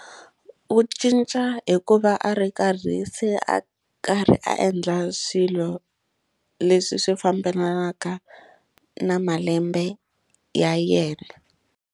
U cinca hikuva a ri karhi se a karhi a endla swilo leswi swi fambelanaka na malembe ya yena.